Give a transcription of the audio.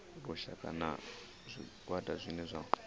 lushaka na zwigwada zwine zwa